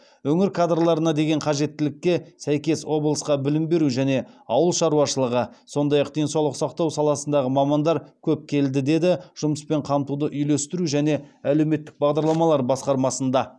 өңір кадрларына деген қажеттілікке сәйкес облысқа білім беру және ауыл шаруашылығы сондай ақ денсаулық сақтау саласындағы мамандар көп келді деді жұмыспен қамтуды үйлестіру және әлеуметтік бағдарламалар басқармасында